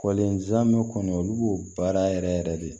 Kɔlen zamɛ kɔni olu b'o baara yɛrɛ yɛrɛ de